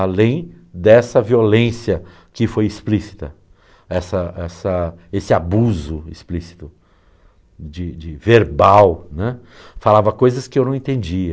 Além dessa violência que foi explícita, essa essa esse abuso explícito, de de verbal né, falava coisas que eu não entendia.